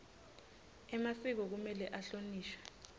emasiko kumele ahlonishwe